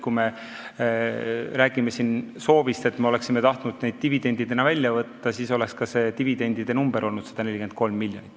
Kui rääkida sellest, et me oleksime tahtnud selle dividendina välja võtta, siis oleks ka dividendisumma olnud 143 miljonit.